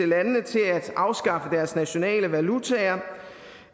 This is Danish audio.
landene til at afskaffe deres nationale valutaer